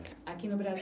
Aqui no Bra